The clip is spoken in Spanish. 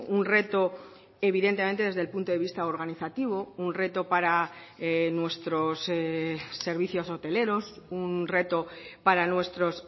un reto evidentemente desde el punto de vista organizativo un reto para nuestros servicios hoteleros un reto para nuestros